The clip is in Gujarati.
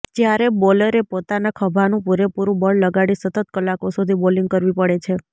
જ્યારે બોલરે પોતાના ખભાનું પૂરેપૂરુંં બળ લગાડી સતત કલાકો સુધી બોલિંગ કરવી પડે છે